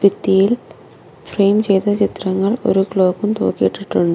ഭിത്തിയിൽ ഫ്രെയിം ചെയ്ത ചിത്രങ്ങൾ ഒരു ക്ലോക്കും തൂക്കിയിട്ടിട്ടുണ്ട്.